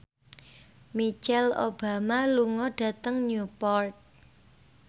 Michelle Obama lunga dhateng Newport